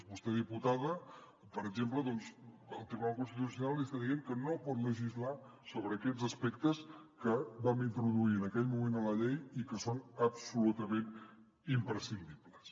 a vostè diputada per exemple doncs el tribunal constitucional li està dient que no pot legislar sobre aquests aspectes que vam introduir en aquell moment a la llei i que són absolutament imprescindibles